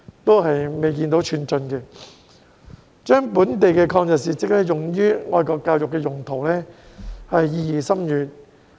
把本地的抗日事蹟用於愛國教育用途，意義深遠。